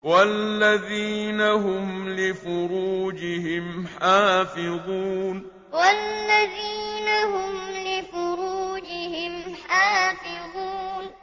وَالَّذِينَ هُمْ لِفُرُوجِهِمْ حَافِظُونَ وَالَّذِينَ هُمْ لِفُرُوجِهِمْ حَافِظُونَ